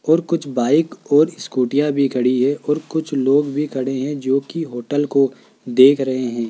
और कुछ बाइक और स्कूटीयां भी खड़ी है और कुछ लोग भी खड़े हैं जोकि होटल को देख रहे हैं।